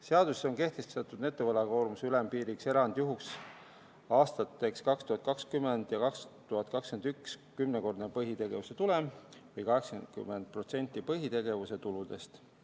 Seaduses on kehtestatud netovõlakoormuse ülempiiriks erandjuhuks aastateks 2020 ja 2021 kümnekordne põhitegevuse tulem või 80% põhitegevuse tuludest.